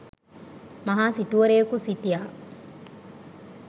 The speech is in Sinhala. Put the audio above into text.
මහා සිටුවරයෙකු සිටියා.